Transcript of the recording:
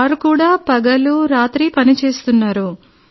వారు కూడా పగలు రాత్రి పనిచేస్తున్నారు